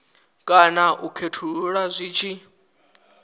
kana u khethulula zwi tshi